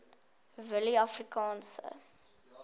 willieafrikaanse